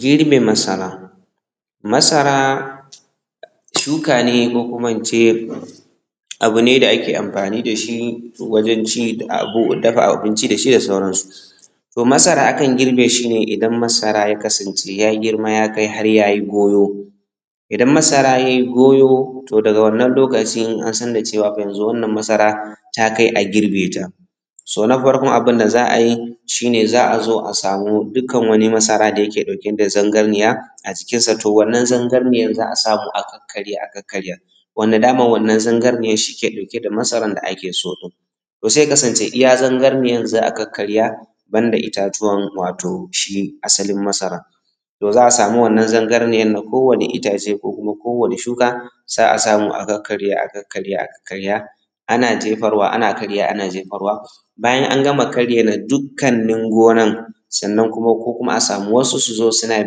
girbe masara Masara shuka ne ko kuma in ce abu ne da ake anfani da shi wajen ci abu dafa abinci dashi da sauransu.to Masara akan girbe shi ne idan masara ya kasance ya girma ya kai har ya yi goyo. idan masara yayi gojo to daga wannan lokaci in an san da cewa fa yanzu wannan masara ta kai a girbe ta. so na farko abinda za a a yi shi ne za a zo a samu dukkan wani masara da yake ɗauke da zangarniya a jikinsa to wannan zangarniyar za a samu a kakkarya a kakkarya Wanda daman wannan zangarniyan shi ke ɗauke da masaran da ake so din. To sai ya kasance iya zangarniyan za a kakkarya banda itatuwan wato shi asalin masaran. To za a samu wannan zangarniyan na kowane itace ko kuma ko wanne shuka, sai a samu a kakkarya-a-kakkarya a kakkarya ana jefarwa ana karyawa.ana jefarwa Bayan an gama karya na dukkannin gonan sannan kuma ko kuma a samu wasu suzo suna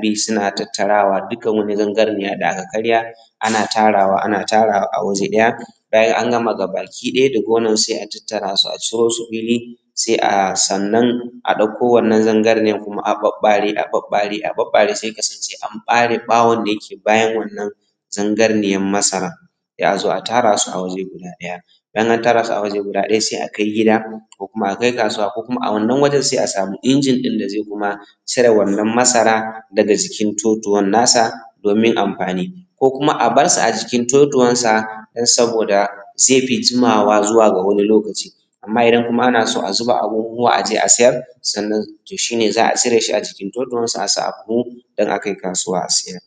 bi suna tattarawa dukkan wani zangarniya da aka karya ana tarawa ana tarawa a waje daya. Bayan an gama gaba ki ɗaya da gonan sai a tattara su a ciro su fili, sai a sannan a ɗakko wannan zangarniyan kuma a ɓaɓɓare- a- ɓaɓɓare a ɓaɓɓare sai ya kasance an ɓare ɓawon da yake bayan wannan zangarniyan masaran sai a zo a tara su waje guda ɗaya. Idan an tara su a waje ɗaya sai a kai gida ko kuma a kai kasuwa ko kuma a wannan wajen sai a samu injin ɗin da zai kuma cire wannan masara daga jikin totuwan nasa domin amfani. ku kuma a barsa a jikin totuwansa don saboda zai fi jimawa zuwa ga wani lokaci. Amma idan kuma ana so a zuba a buhuhuwa a je a siyar, sannan to shi ne za a siyar da shi a jikin totuwarsa a sa a buhu dan a kai kasuwa a siyar.